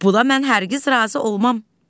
Bu da mən hər kəz razı olmaram.